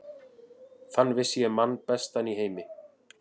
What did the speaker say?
Þann vissi ég mann bestan í heimi.